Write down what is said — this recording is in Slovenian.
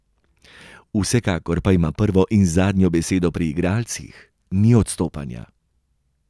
Vsekakor pa ima prvo in zadnjo besedo pri igralcih, ni odstopanja.